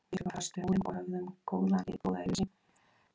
Við bjuggum fast við Múrinn og höfðum góða yfirsýn yfir hverfið handan hans.